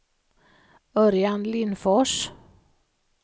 Örjan Lindfors